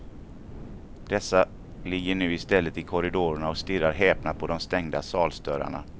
Dessa ligger nu i stället i korridorerna och stirrar häpna på de stängda salsdörrarna.